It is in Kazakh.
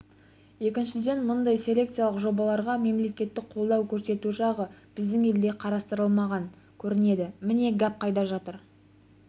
екіншіден мұндай селекциялық жобаларға мемлекеттік қолдау көрсету жағы біздің елде қарастырылмаған көрінеді міне гәп қайда жатыр